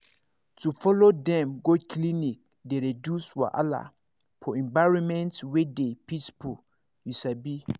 to follow dem go clinic dey reduce wahala for environment wey dey peaceful you sabi